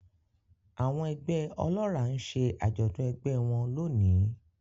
Àwọn ẹgbẹ́ ọlọ́ràá ń ṣe àjọ̀dún ẹgbẹ́ ẹ wọn lónìí